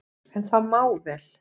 En það má vel,